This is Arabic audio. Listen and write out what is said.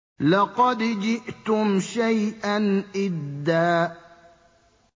لَّقَدْ جِئْتُمْ شَيْئًا إِدًّا